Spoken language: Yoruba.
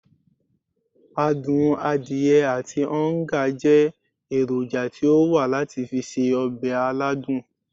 Adun adiye ati oonga je eroja ti o wa lati fi se obe aladun.